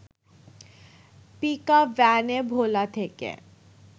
পিকাপভ্যানে ভোলা থেকে